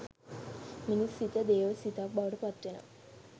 මිනිස් සිත දේව සිතක් බවට පත්වෙනවා